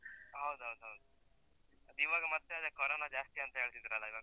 ಹೌದೌದೌದು, ಅದಿವಾಗ ಮತ್ತೆ ಅದೇ, ಕೊರೊನಾ ಜಾಸ್ತಿ ಅಂತ ಹೇಳ್ತಿದ್ರಲ್ಲ ಇವಾಗ?